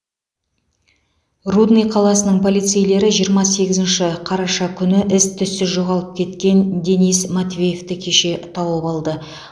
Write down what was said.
рудный қаласының полицейлері жиырма сегізінші қараша күні із түзсіз жоғалып кеткен денис матвеевті кеше тауып алды